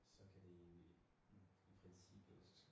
Så kan vi i i i princippet